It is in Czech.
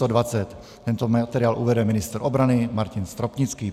Tento materiál uvede ministr obrany Martin Stropnický.